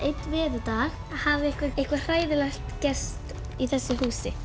einn veðurdag hafi eitthvað hræðilegt gerst í þessu húsi